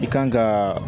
I kan ka